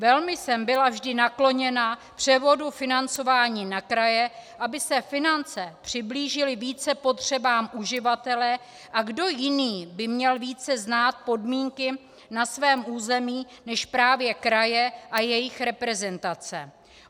Velmi jsem byla vždy nakloněna převodu financování na kraje, aby se finance přiblížily více potřebám uživatele, a kdo jiný by měl více znát podmínky na svém území než právě kraje a jejich reprezentace.